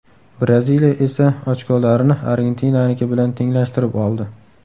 Braziliya esa ochkolarini Argentinaniki bilan tenglashtirib oldi.